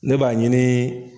Ne b'a ɲini